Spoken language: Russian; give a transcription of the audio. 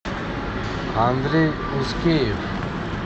андрей ускеев